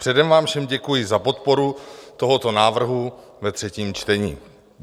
Předem vám všem děkuji za podporu tohoto návrhu ve třetím čtení.